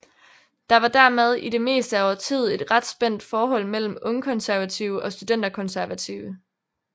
Der var dermed i det meste af årtiet et ret spændt forhold mellem ungkonservative og studenterkonservative